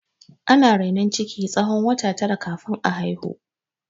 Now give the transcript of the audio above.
Ana rainon ciki na tsawon wata tara kafin a haihu.